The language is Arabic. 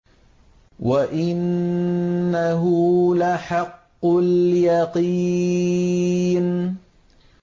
وَإِنَّهُ لَحَقُّ الْيَقِينِ